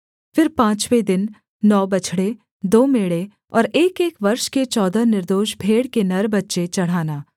फिर पाँचवें दिन नौ बछड़े दो मेढ़े और एकएक वर्ष के चौदह निर्दोष भेड़ के नर बच्चे चढ़ाना